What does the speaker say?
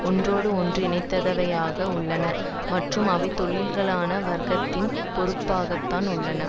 ஒன்றோடு ஒன்று இணைந்தவையாக உள்ளன மற்றும் அவை தொழிலாள வர்க்கத்தின் பொறுப்பாகத்தான் உள்ளன